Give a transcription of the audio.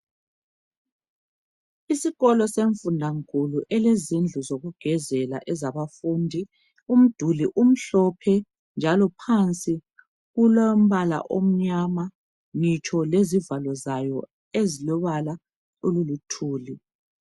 Isikolo semfundankulu elezindlu zokugezela ezabafundi. Umduli umhlophe njalo phansi kulombala omnyama ngitsho lezivalo zayo ezilobala oluluthuli